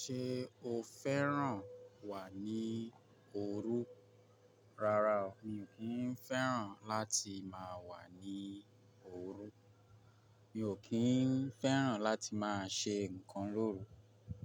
Ṣé o fẹ́ràn wà ní òru? Rárá o, mi ò kí ń fẹ́ràn láti máa wà ní òru. Mi ò kí ń fẹ́ràn láti máa ṣe nǹkan lóru.